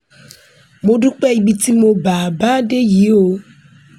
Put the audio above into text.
mo dúpẹ́ ibi tí mo bá a bá a dé yìí o